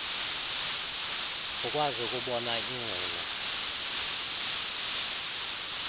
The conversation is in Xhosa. ukwazi ukubona iingcina